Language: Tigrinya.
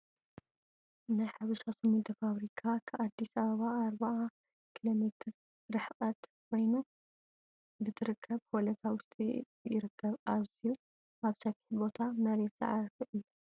ናይ ሓበሻ ሲሚንቶ ፋብሪካ ከኣዲስ ኣበባ 40 ኪሎ ሜትር ርሕቀት ኮይነኑ ብትርከብ ሆለታ ውሽጢ ይርከብ። ኣዝዩ ኣብ ሰፍሒ ቦታ መሬት ዝዓረፈ እዩ።